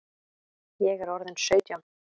Ég er orðin sautján!